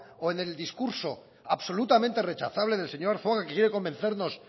o en el discurso absolutamente rechazable del señor arzuaga que quiere convencernos